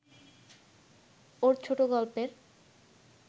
ওর ছোটগল্পের